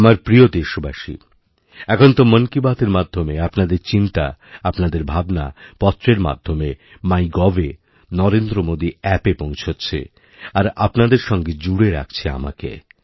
আমার প্রিয় দেশবাসী এখন তো মনকী বাতএর মাধ্যমে আপনাদের চিন্তা আপনাদের ভাবনা পত্রের মাধ্যমে মাই গভএনরেন্দ্র মোদী অ্যাপএ পৌঁছচ্ছে আর আপনাদের সঙ্গে জুড়ে রাখছে আমাকে